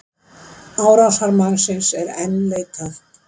Árásarmannsins er enn leitað